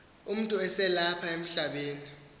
umntu eselapha emhlabeni